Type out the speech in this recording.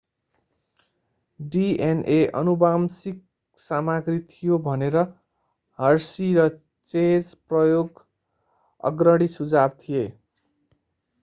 DNA आनुवंशिक सामग्री थियो भनेर hershey र chase प्रयोग अग्रणी सुझाव थिए